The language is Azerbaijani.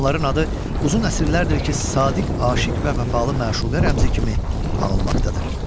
Onların adı uzun əsrlərdir ki, sadiq aşiq və vəfalı məşuqə rəmzi kimi anılmaqdadır.